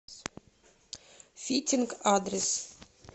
фитинг адрес